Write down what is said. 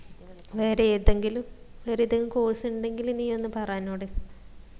വേറെ ഏതെങ്കിലും വേറെ ഏതെങ്കിലും course ഉണ്ടെങ്കില് നീ ഒന്ന് പറ എന്നോട്